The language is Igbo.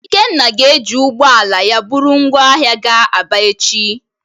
Ikenna ga-eji ụgbọ ala ya buru ngwa ahia gaa Aba echi.